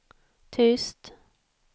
tyst